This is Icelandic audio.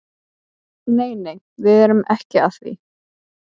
Nei nei, við erum ekki að því.